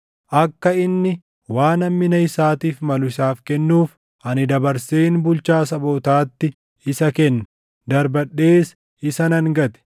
akka inni waan hammina isaatiif malu isaaf kennuuf, ani dabarseen bulchaa sabootaatti isa kenne. Darbadhees isa nan gate;